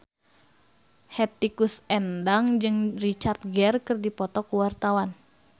Hetty Koes Endang jeung Richard Gere keur dipoto ku wartawan